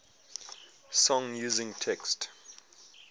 song using text